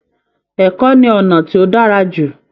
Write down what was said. Ẹ̀kọ́ ni ọ̀nà tí ó dára jù